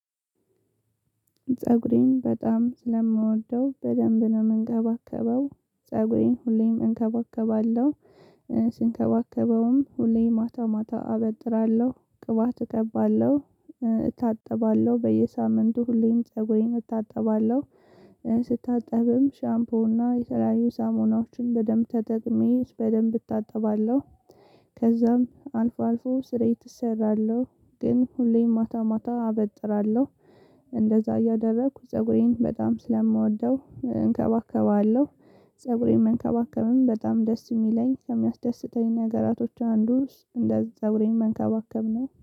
ፀጉሬን በጣም ስለምወደው። በደንብ ነው የምንከባከበው። ፀጉሬን ሁሌም እንከባከባለሁ፤ ስንከባከበውም ሁሌም ማታ ማታ አበጥራለሁ፤ ቅባት እቀባለሁ፤ እታጠባለሁ፤ በየሳምንቱ ሁሌም ፀጉሬን እታጠባለሁ። ስታጠብም ሻምፖና የተለያዩ ሳሙናዎችን በደንብ ተጠቅሜ በደንብ እታጠባለሁ። ከዛም አልፎ አልፎ ስርየት እሰራለሁ። ግን ሁሌም ማታ ማታ አበጥራለሁ። እንደዛ እያደረኩ ፀጉሬን በጣም ስለምወደው እንከባከባለሁ። ፀጉሬን መንከባከብም በጣም ደስ የሚለኝ፣ ከሚያስደስተኝ ነገራቶች አንዱ እስ እንደዛ አብሬኝ መንከባከብ ነው።